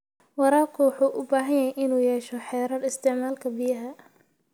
Waraabka wuxuu u baahan yahay inuu yeesho xeerar isticmaalka biyaha.